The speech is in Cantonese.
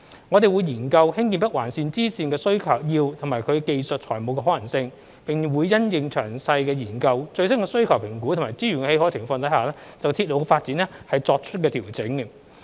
我們會研究興建北環綫支綫的需要及其技術與財務可行性，並會因應詳細研究、最新需求評估及資源的許可情況就鐵路發展作出調整。